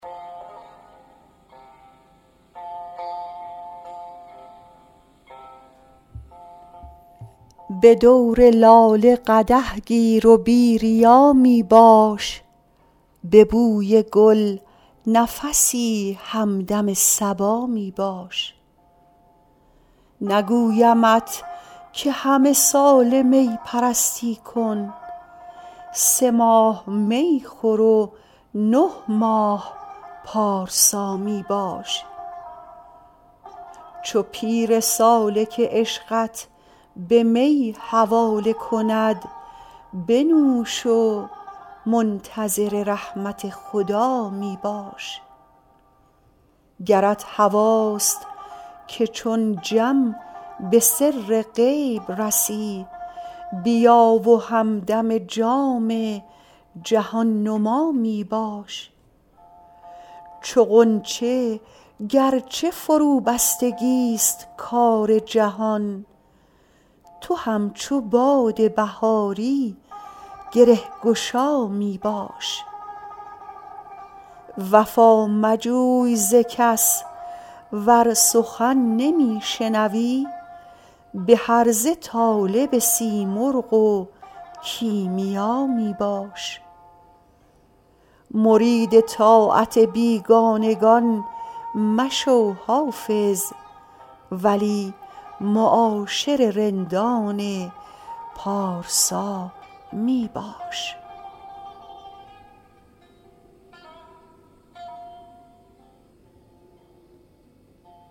به دور لاله قدح گیر و بی ریا می باش به بوی گل نفسی همدم صبا می باش نگویمت که همه ساله می پرستی کن سه ماه می خور و نه ماه پارسا می باش چو پیر سالک عشقت به می حواله کند بنوش و منتظر رحمت خدا می باش گرت هواست که چون جم به سر غیب رسی بیا و همدم جام جهان نما می باش چو غنچه گر چه فروبستگی ست کار جهان تو همچو باد بهاری گره گشا می باش وفا مجوی ز کس ور سخن نمی شنوی به هرزه طالب سیمرغ و کیمیا می باش مرید طاعت بیگانگان مشو حافظ ولی معاشر رندان پارسا می باش